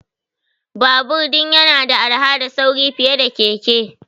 Babur din yana da arha da sauri fiye da keke.